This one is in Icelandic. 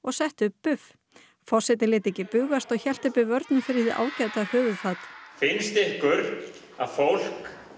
forsetinn lét ekki bugast og hélt uppi vörnum fyrir hið ágæta höfuðfat finnst ykkur að fólk megi nota